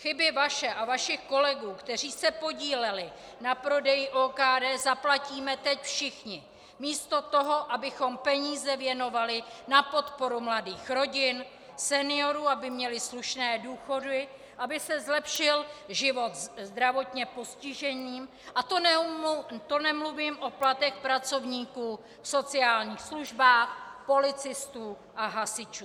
Chyby vaše a vašich kolegů, kteří se podíleli na prodeji OKD, zaplatíme teď všichni místo toho, abychom peníze věnovali na podporu mladých rodin, seniorů, aby měli slušné důchody, aby se zlepšil život zdravotně postiženým, a to nemluvím o platech pracovníků v sociálních službách, policistů a hasičů.